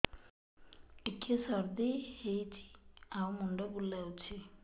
ଟିକିଏ ସର୍ଦ୍ଦି ହେଇଚି ଆଉ ମୁଣ୍ଡ ବୁଲାଉଛି